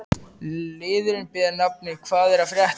Liðurinn ber nafnið: Hvað er að frétta?